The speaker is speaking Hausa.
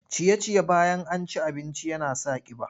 Ciye-ciye bayan an ci abinci yana sa ƙiba.